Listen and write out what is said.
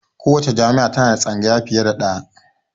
Kowacce jami'a ta na da tsangaya fiye da ɗaya